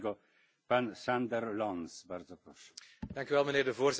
Voorzitter, wanneer het niet goed gaat in de Europese Unie uiten wij kritiek.